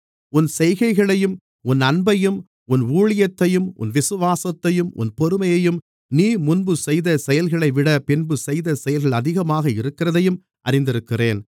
உன் செய்கைகளையும் உன் அன்பையும் உன் ஊழியத்தையும் உன் விசுவாசத்தையும் உன் பொறுமையையும் நீ முன்பு செய்த செயல்களைவிட பின்பு செய்த செயல்கள் அதிகமாக இருக்கிறதையும் அறிந்திருக்கிறேன்